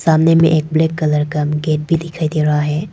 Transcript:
सामने में एक ब्लैक कलर का एक गेट भी दिखाई दे रहा है।